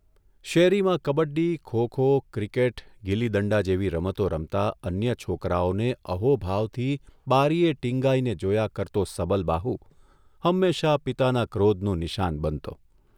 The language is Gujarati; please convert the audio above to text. શેરીમાં કબડ્ડી, ખો ખો, ક્રિકેટ, ગિલ્લી દંડા જેવી રમતો રમતા અન્ય છોકરાઓને અહોભાવથી બારીએ ટિંગાઇને જોયા કરતો સબલબાહુ હંમેશા પિતાના ક્રોધનું નિશાન બનતો.